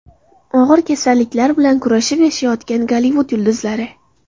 Og‘ir kasalliklar bilan kurashib yashayotgan Gollivud yulduzlari.